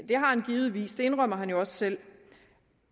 det har han givetvis det indrømmer han jo også selv